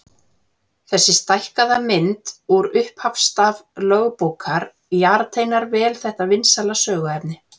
Þessi stækkaða mynd úr upphafsstaf lögbókar jarteinar vel þetta vinsæla söguefni.